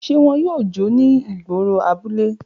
Ṣe wọn yoo jó ni igboro abule?